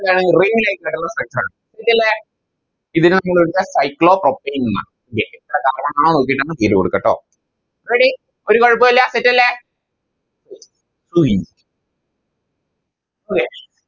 Ring light structure ആണ് Set അല്ലെ ഇതിനെ Cyclo octane എന്ന നോക്കിറ്റങ് പേര് കൊടുക്ക ട്ടോ Ready ഒരു കൊഴപ്പോല്ല Set അല്ലെ ഇനി okay